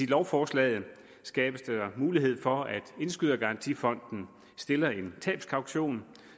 lovforslaget skabes der mulighed for at indskydergarantifonden stiller en tabskaution